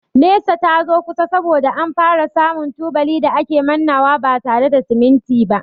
Nesa ta zo kusa saboda an fara samu tubali da a ke mannawa ba tare da siminti ba.